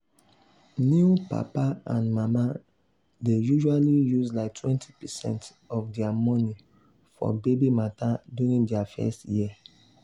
new papa and mama dey usually use like 20 percent of their money for baby matter during the first year.